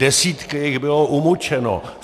Desítky jich bylo umučeno.